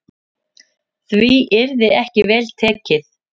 Því yrði ekki vel tekið.